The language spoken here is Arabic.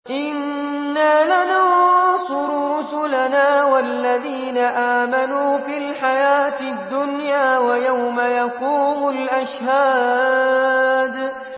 إِنَّا لَنَنصُرُ رُسُلَنَا وَالَّذِينَ آمَنُوا فِي الْحَيَاةِ الدُّنْيَا وَيَوْمَ يَقُومُ الْأَشْهَادُ